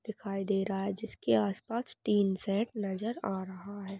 दिखाई दे रहा है जिसके आस पास तीन शैड नजर आ रहा है।